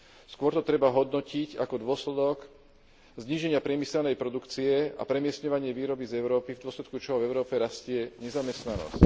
Skôr to treba hodnotiť ako dôsledok zníženia priemyselnej produkcie a premiestňovanie výroby z Európy, v dôsledku čoho v Európe rastie nezamestnanosť.